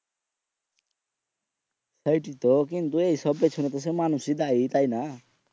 সেইটোয় তো কিন্তু এইসব পিছুনে তো সেই মানুষই দেয় তাই না